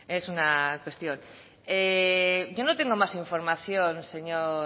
es una cuestión yo no tengo más información señor